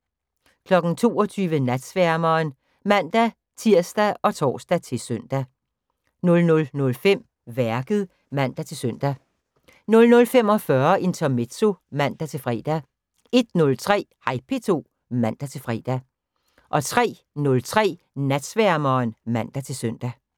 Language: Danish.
22:00: Natsværmeren ( man-tir, tor, -søn) 00:05: Værket (man-søn) 00:45: Intermezzo (man-fre) 01:03: Hej P2 (man-fre) 03:03: Natsværmeren (man-søn)